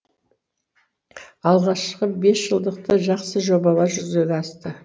алғашқы бесжылдықты жақсы жобалар жүзеге асты